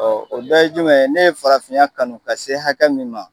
Ɔ o bɛɛ ye jumɛn ye, ne ye farafinya kanu ka se hakɛ min ma.